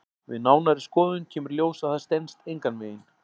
Við nánari skoðun kemur í ljós að það stenst engan veginn.